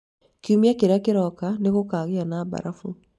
kiumia kĩrĩa kĩroka nĩ gũkaagĩa na mbarabu